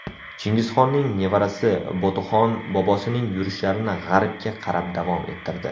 Chingizxonning nevarasi Botuxon bobosining yurishlarini g‘arbga qarab davom ettirdi.